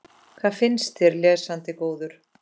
Hvað finnst þér, lesandi góður?